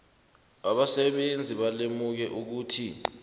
abasebenzi balimuke ukuthi